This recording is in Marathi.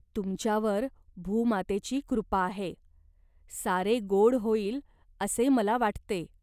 तुमच्यावर भूमातेची कृपा आहे. सारे गोड होईल असे मला वाटते.